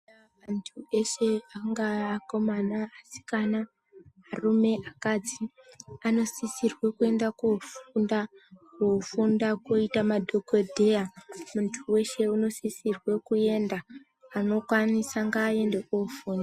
Antu eshe, angaa akomana, asikana, arume, akadzi, anosisirwe kuenda kofunda, kofunda kuita madhokodheya .Muntu weshe unosisirwe kuenda ,anokwanisa ngaaende ofunda.